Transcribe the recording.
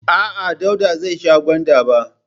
A'a, Dauda zai sha gwanda ba.